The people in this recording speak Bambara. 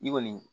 I kɔni